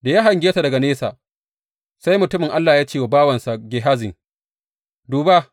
Da ya hange ta daga nesa, sai mutumin Allah ya ce wa bawansa Gehazi, Duba!